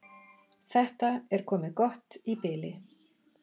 Þetta er komið gott í bili.